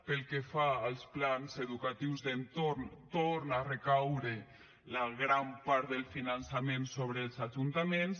pel que fa als plans educatius d’entorn torna a recaure la gran part del finançament sobre els ajuntaments